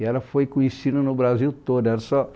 E ela foi conhecida no Brasil todo. É só